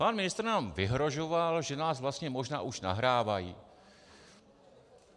Pan ministr nám vyhrožoval, že nás vlastně možná už nahrávají.